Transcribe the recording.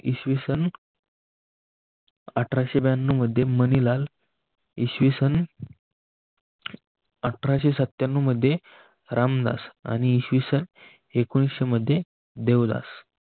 इसवी सन अठराशे ब्यांनाव मध्ये मनीलाल इसवी सन अठराशे सत्यांनव मध्ये रामदास आणि इसवी सन एकोणविशे मध्ये देवदास त